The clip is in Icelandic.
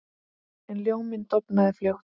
En ljóminn dofnaði fljótt.